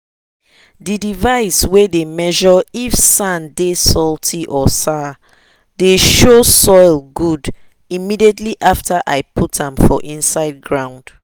the device way dey measure if sand dey salty or sour dey show soil good immediately after i put am for inside ground.